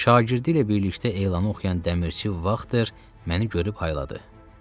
Şagirdi ilə birlikdə elanı oxuyan dəmirçi Vaqtın məni görüb hayladı.